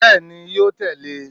Bẹ́ẹ̀ni ni, yóò tẹ̀lé e